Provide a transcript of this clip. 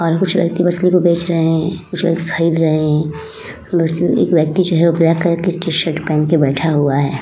और कुछ व्यक्ति मछली को बेच रहे हैं। कुछ व्यक्ति खरीद रहे हैं। एक व्यक्ति जो है ब्लैक कलर की टी शर्ट पहन के बैठा हुआ है।